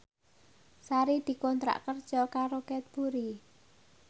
Sari dikontrak kerja karo Cadbury